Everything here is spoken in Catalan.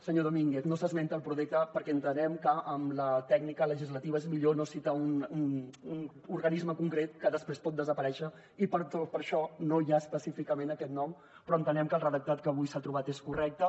senyor domínguez no s’esmenta el prodeca perquè entenem que en la tècnica legislativa és millor no citar un organisme concret que després pot desaparèixer i per això no hi ha específicament aquest nom però entenem que el redactat que avui s’ha trobat és correcte